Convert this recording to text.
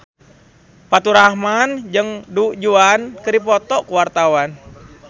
Faturrahman jeung Du Juan keur dipoto ku wartawan